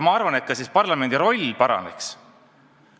Ma arvan, et siis ka parlamendi roll suureneks.